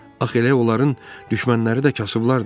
Axı elə onların düşmənləri də kasıblardır.